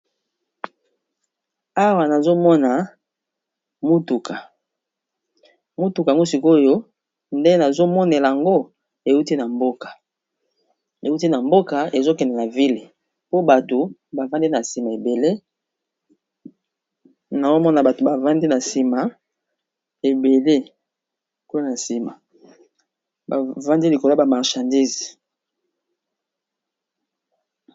Awa nazomona motuka mutuka ngo sikoyo nde nazo monela yango euti na mboka, euti na mboka ezokendela vile po bato animaeel nazomona bato bavandi na nsima ebele mona nsima bavandi likolo yaba marshandise.